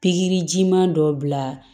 Pikirijiman dɔ bila